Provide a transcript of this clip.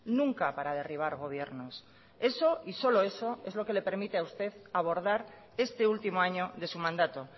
nunca para derribar gobiernos eso y solo eso es lo que le permite a usted abordar este último año de su mandato